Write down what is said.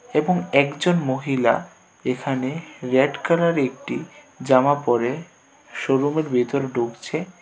এবং একজন মহিলা এখানে রযাড কালারের একটি জামা পড়ে শোরুমের ভিতরে ঢুকছে.